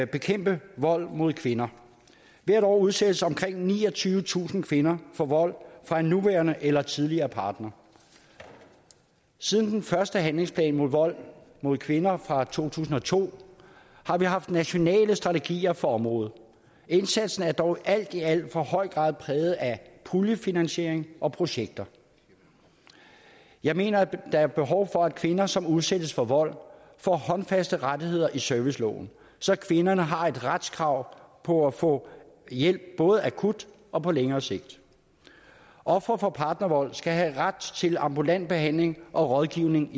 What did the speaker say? bekæmpe vold mod kvinder hvert år udsættes omkring niogtyvetusind kvinder for vold fra en nuværende eller tidligere partner siden den første handlingsplan mod vold mod kvinder fra to tusind og to har vi haft nationale strategier for området indsatsen er dog alt i alt i for høj grad præget af puljefinansiering og projekter jeg mener der er behov for at kvinder som udsættes for vold får håndfaste rettigheder i serviceloven så kvinderne har et retskrav på at få hjælp både akut og på længere sigt ofre for partnervold skal have ret til ambulant behandling og rådgivning